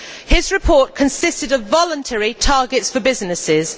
His report consisted of voluntary targets for businesses.